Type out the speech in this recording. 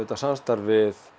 samstarf við